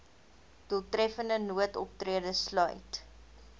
doeltreffende noodoptrede sluit